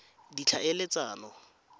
ditlhaeletsano